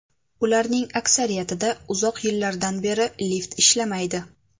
Ularning aksariyatida uzoq yillardan beri lift ishlamaydi.